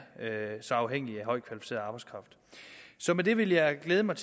så afhængige af højt kvalificeret arbejdskraft så med det vil jeg glæde mig